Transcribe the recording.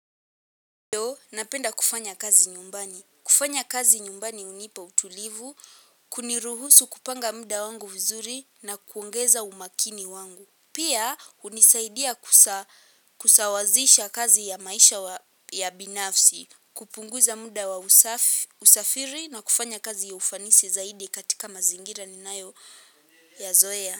Napenda kufanya kazi nyumbani. Kufanya kazi nyumbani hunipa utulivu, kuniruhusu kupanga mda wangu vizuri na kuongeza umakini wangu. Pia hunisaidia kusawazisha kazi ya maisha ya binafsi, kupunguza mda wa usafiri na kufanya kazi ya ufanisi zaidi katika mazingira ninayoyazoea.